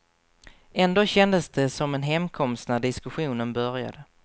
Ändå kändes det som en hemkomst när diskussionen började.